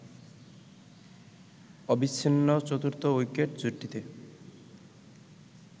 অবিচ্ছিন্ন চতুর্থ উইকেট জুটিতে